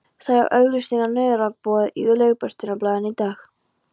Þær eru auglýstar á nauðungaruppboði í Lögbirtingablaðinu í dag!